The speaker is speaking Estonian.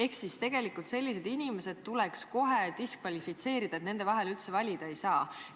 Nii et tegelikult tuleks sellised inimesed kohe diskvalifitseerida, nende vahel üldse valida ei saa.